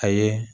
A ye